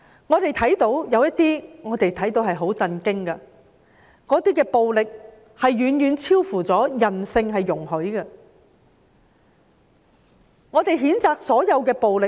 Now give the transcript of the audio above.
我們也看到一些很令人震驚的情況，暴力是遠遠超乎人性所容許的，我們譴責所有的暴力。